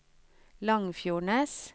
Langfjordnes